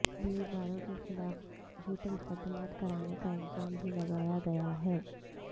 امیدواروں کے خلاف جھوٹے مقدمات کرانے کا الزام بھی لگایا گیا ہے